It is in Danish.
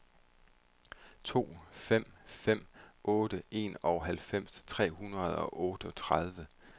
to fem fem otte enoghalvfems tre hundrede og otteogtredive